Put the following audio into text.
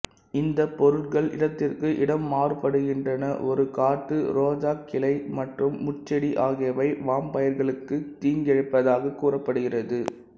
இந்தப் பொருட்கள் இடத்திற்கு இடம் மாறுபடுகின்றன ஒரு காட்டு ரோஜாக் கிளை மற்றும் முட்செடி ஆகியவை வாம்பயர்களுக்குத் தீங்கிழைப்பதாகக் கூறப்படுகிறது